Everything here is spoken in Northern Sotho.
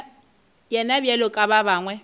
yena bjalo ka ba bangwe